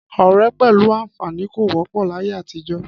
Ọ̀rẹ́ pẹ̀lú àǹfààní kò wọ́pọ̀ láyé àtijọ́